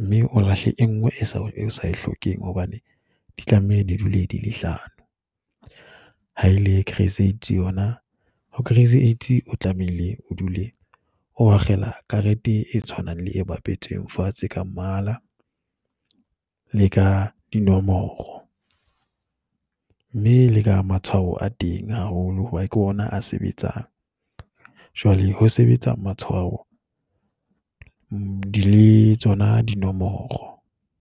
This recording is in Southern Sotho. mme o lahle e nngwe e o sa e hlokeng hobane di tlameha ne dule di le hlano. Ha e le crazy yona ho crazy eight o tlamehile o dule o akgela karete e tshwanang le e bapetsweng fatshe ka mmala le ka dinomoro. Mme le ka matshwao a teng haholo hobane ke ona a sebetsang. Jwale ho sebetsa matshwao di le tsona dinomoro.